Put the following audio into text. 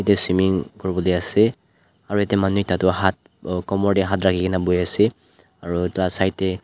etu swimming kori bole ase aru tarte manu ekta tu haat komor te haat rakhi kina bohe ase aru etu laga side te--